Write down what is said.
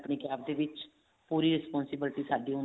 ਆਪਣੀ CAB ਦੇ ਵਿੱਚ ਪੂਰੀ responsibility ਸਾਡੀ